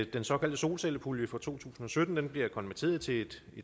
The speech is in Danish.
den såkaldte solcellepulje fra to tusind og sytten bliver konverteret til et